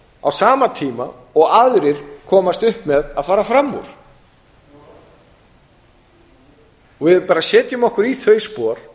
á sama tíma og aðrir komast upp með að fara fram úr ef við bara setjum okkur í þau spor